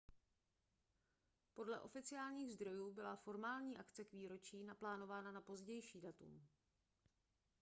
podle oficiálních zdrojů byla formální akce k výročí naplánována na pozdější datum